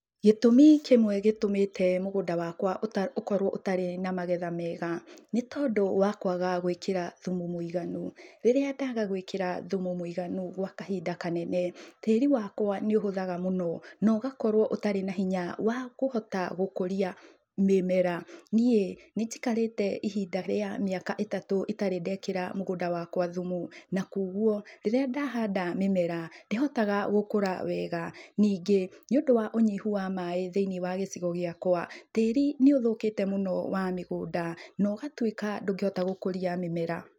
Gĩtumi kĩmwe gĩtũmĩte mũgũnda wakwa ũkorwo ũtarĩ na magetha mega nĩtondũ wa kwaga gwĩkĩra thumu mũiganu. Rĩria daga gwĩkĩra thumu mũiganu gwa kahinda kanene tĩĩri wakwa nĩũhũthaga muno na ũgakorwo ũtarĩ na hinya wa kũhota gũkũria mĩmera. Nĩĩ nĩnjikarĩte ihinda rĩa mĩaka ĩtatu itarĩ ndekĩra mũgũnda wakwa thumu na kwoguo rĩrĩa ndahanda mĩmera ndĩhotaga gũkura wega. Nĩngĩ nĩũndũ wa ũnyihu wa maĩ thĩinĩ wa gĩcigo gĩakwa tíĩri nĩ ũthũkĩte mũno wa mĩgũnda na ũgatuĩka ndũngĩhota gũkũria mĩmera.